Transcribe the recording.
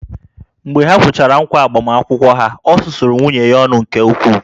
Mgbe ha kwechara ǹkwá agbamakwụkwọ ha, o susuru nwunye ya ọnụ nke ukwuu